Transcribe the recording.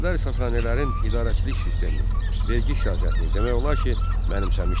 Ərəblər Sasanilərin idarəçilik sistemini, vergi siyasətini demək olar ki, mənimsəmişdilər.